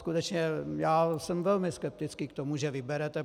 Skutečně já jsem velmi skeptický k tomu, že vyberete.